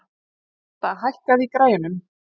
Róberta, hækkaðu í græjunum.